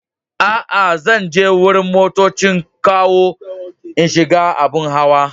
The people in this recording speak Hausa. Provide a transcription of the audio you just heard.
Aa, zan je wurin motoccin kawo n'shiga abun hawa.